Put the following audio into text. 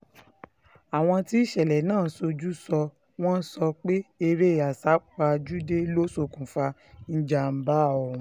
àwọn tí ìṣẹ̀lẹ̀ náà ṣojú sọ wọ́n sọ pé eré àsápajúdé ló ṣokùnfà ìjàm̀bá ọ̀hún